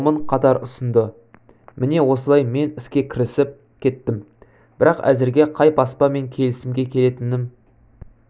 томын қатар ұсынды міне осылай мен іске кірісіп кеттім бірақ әзірге қай баспамен келісімге келетінім